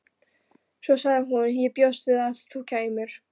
Svo sagði hún: Ég bjóst við að þú kæmir.